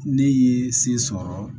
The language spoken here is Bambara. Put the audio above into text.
Ne ye se sɔrɔ